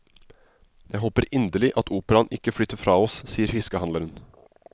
Jeg håper inderlig at operaen ikke flytter fra oss, sier fiskehandleren.